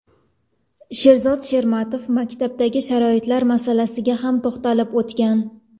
Sherzod Shermatov maktablardagi sharoitlar masalasiga ham to‘xtalib o‘tgan.